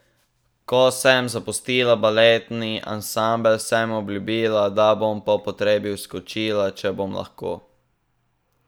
Ko sem zapustila baletni ansambel, sem obljubila, da bom po potrebi vskočila, če bom lahko.